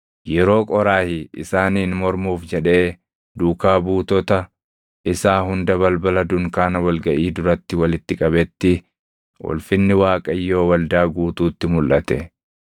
Yeroo Qooraahi isaaniin mormuuf jedhee duukaa buutota isaa hunda balbala dunkaana wal gaʼii duratti walitti qabetti, ulfinni Waaqayyoo waldaa guutuutti mulʼate.